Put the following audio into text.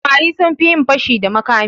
Samari sun fi yin fashi da makami.